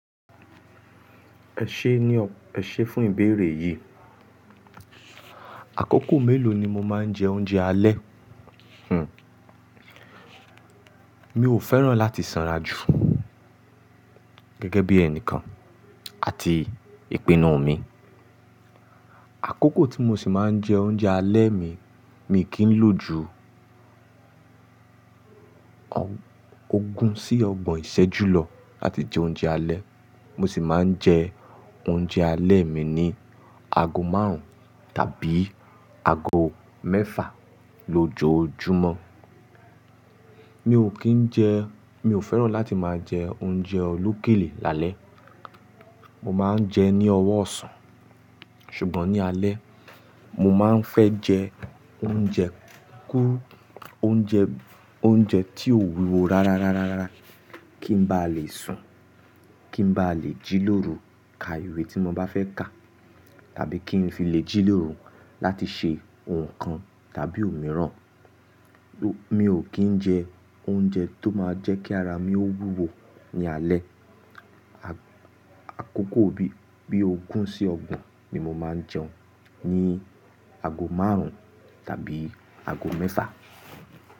Ẹ ṣé ní o-- ẹ ṣe fún ìbéèrè yì. Àkókò mélò ni mo máa ń jẹ oúnjẹ alẹ́? Hm. Mi ò fẹ́ràn láti sanra jù gẹ́gẹ́ bí ẹnìkan àti ìpinnu mi. Àkókò tí mo sì máa ń jẹ oúnjẹ alẹ́ mi, mi kì n lò ju og- ogún sí ọgbọ̀n ìṣẹ́jú lọ ati jẹ oúnjẹ alẹ́. Mo sì máa ń jẹ oúnjẹ alẹ́ mi ní ago márùn-ún tàbí ago mẹ́fà lójoojúmọ́. Mi ò kí ń jẹ-- mi ò fẹ́ràn láti máa jẹ oúnjẹ olókèlé lálẹ́. Mo máa ń jẹ ní ọwọ́ ọ̀sán, ṣùgbọ́n ní alẹ́, mo máa ń fẹ́ jẹ oúnjẹ kú-- oúnjẹ, oúnjẹ tí ó wùwọ̀ rárá, rárá, rárá, rárá, kí n ba lè sùn, kí n ba lè jí lóru ka ìwé tí mo bá fẹ́ kà, tàbí kí n fi lè jí lóru láti ṣe ǹkan tàbí òmíràn. Lo-- mi ò kí ń jẹ oúnjẹ tó máa jẹ́ kí ara mi ó wùwọ̀ ní alẹ́. A-àkókò bí ogún sí ọgbọ̀n ni mo máa ń jẹun ní ago márùn-ún tàbí ago mẹ́fà.